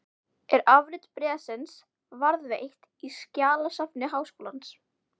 Er afrit bréfsins varðveitt í skjalasafni Háskólans.